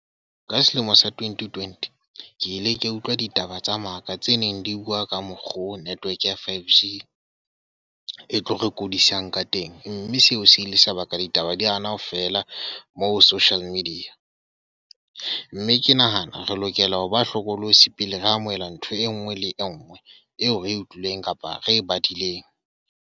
Ka selemo sa twenty-twenty, ke ile ka utlwa ditaba tsa maka tse neng di bua ka mokgo network ya 5G e tlo re kodisang ka teng. Mme seo se ile sebaka ditaba di hana ho fela mo social media. mme ke nahana re lokela ho ba hlokolosi pele re amohela ntho e nngwe le e nngwe eo re utlwileng, kapa re badileng.